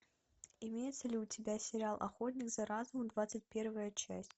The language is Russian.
имеется ли у тебя сериал охотник за разумом двадцать первая часть